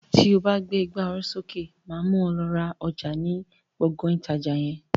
To bá gbé ìgbà oró sókè, máa mú ọ lọ ra ọjà ni Gbọ̀ngán ìtajà yẹn.